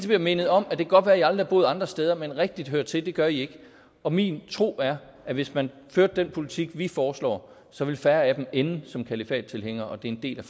bliver mindet om det kan godt være at i aldrig har boet andre steder men rigtigt høre til gør i ikke og min tro er at hvis man førte den politik vi foreslår så ville færre af dem ende som kalifattilhængere og det er en del